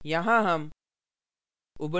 यहाँ हम